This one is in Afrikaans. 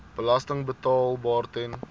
belasting betaalbaar ten